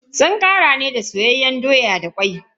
Sun ƙarya ne da soyayyen doya da kwai.